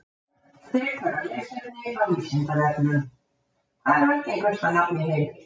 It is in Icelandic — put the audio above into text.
Frekara lesefni á Vísindavefnum: Hvað er algengasta nafn í heimi?